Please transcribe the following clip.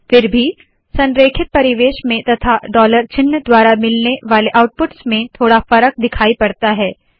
फिर भी संरेखित परिवेश में तथा डॉलर चिन्ह द्वारा मिलने वाले आउटपुट्स में थोडा फरक दिखाई पड़ता है